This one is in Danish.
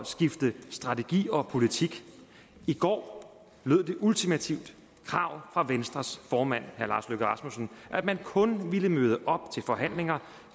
skifte strategi og politik i går lød det ultimative krav fra venstres formand herre lars løkke rasmussen at man kun vil møde op til forhandlinger